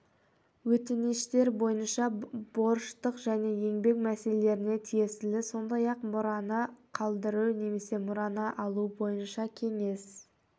өтініштер көбінесе борыштық және еңбек мәселелеріне тиесілі сондай-ақ мұраны қалдыру немесе мұраны алу бойынша кеңес